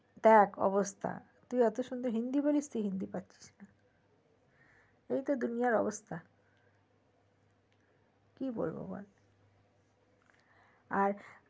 দেখ অবস্থা তুই এত সুন্দর হিন্দি বলতে পারিস তুই পাচ্ছিস না এইতো দুনিয়ার অবস্থা কি বলবো বল আর